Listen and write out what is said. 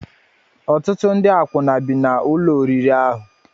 Ọtụtụ ndị akwụna bi n'ụlọ oriri ahụ.